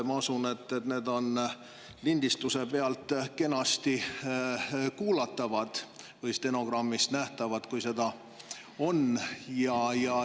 Ma usun, et see on lindistuse pealt kenasti kuulatav või nähtav stenogrammist, kui seda on.